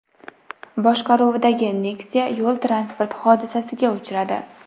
boshqaruvidagi Nexia yo‘l-transport hodisasiga uchradi.